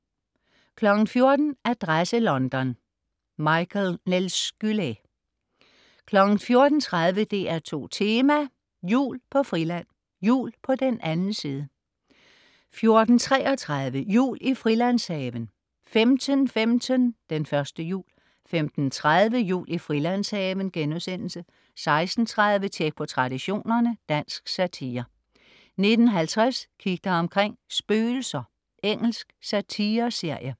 14.00 Adresse London: Michael Nelskylä 14.30 DR2 Tema: Jul på Friland. Jul på den anden side 14.33 Jul i Frilandshaven 15.15 Den første jul 15.30 Jul i Frilandshaven* 16.30 Tjek på Traditionerne. Dansk satire 19.50 Kig dig omkring: Spøgelser. Engelsk satireserie